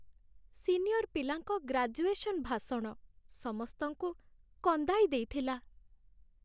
Senior ପିଲାଙ୍କ graduation ଭାଷଣ ସମସ୍ତଙ୍କୁ କନ୍ଦାଇ ଦେଇଥିଲା।